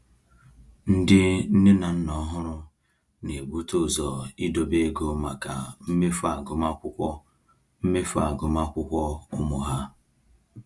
Ndị nne na nna ọhụrụ na-ebute ụzọ idobe ego maka mmefu agụmakwụkwọ mmefu agụmakwụkwọ ụmụ ha.